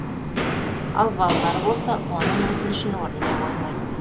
ал балалары болса оның өтінішін орындай қоймайды